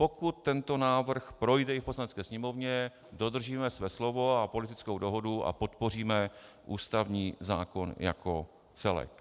Pokud tento návrh projde i v Poslanecké sněmovně, dodržíme své slovo a politickou dohodu a podpoříme ústavní zákon jako celek.